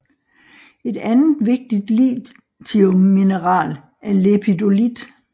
Et andet vigtigt lithiummineral er lepidolit